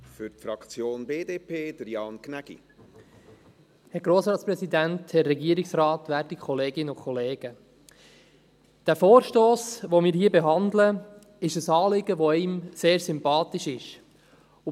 Der Vorstoss, den wir hier behandeln, betrifft ein Anliegen, das einem sehr sympathisch ist.